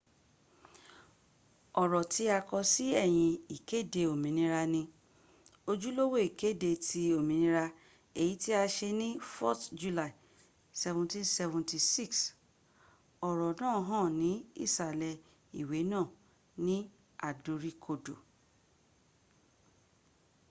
oro ti ako si eyin ikede ominira ni ojulowo ikede ti ominira eyi ti a se ni 4th july 1776 oro naa han ni isale iwe naa ni adorikodo